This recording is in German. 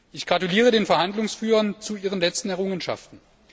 Ich gratuliere den Verhandlungsführern zu ihren letzten Errungenschaften.